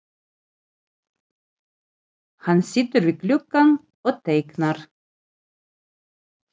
Hann situr við gluggann og teiknar.